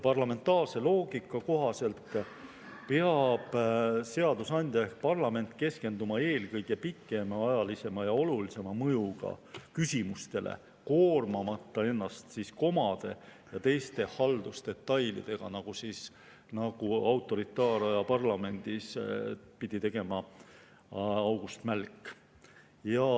Parlamentaarse loogika kohaselt peab seadusandja ehk parlament keskenduma eelkõige pikemaajalisema ja olulisema mõjuga küsimustele, koormamata ennast komade ja teiste haldusdetailidega, nagu autoritaaraja parlamendis pidi tegema August Mälk.